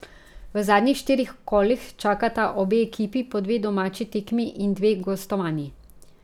V zadnjih štirih kolih čakata obe ekipi po dve domači tekmi in dve gostovanji.